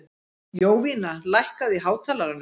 Jovina, lækkaðu í hátalaranum.